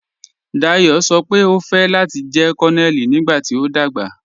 Dayọ sọ́ pe o fẹ́ láti jẹ̀ Kònonèlì nígbàtí o dagba.